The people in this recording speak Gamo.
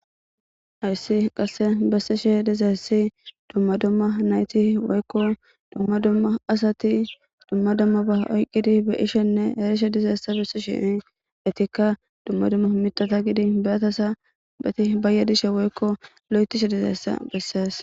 hayssi qasse bessishe dizayssi dumma dumma nayti woykko dumma dumma asati dumma dumma ba oykkidi be7ishenne erishe dizayssa besishe etikka dumma dumma mithata gidin nirataza eti bayaddishe woykko lo7ethishe dizayssa bessees